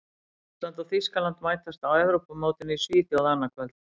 Ísland og Þýskaland mætast á Evrópumótinu í Svíþjóð annað kvöld.